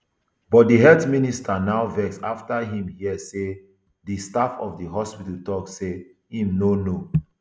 but di health minister now vex afta im hear say di staff of di hospital tok say im no know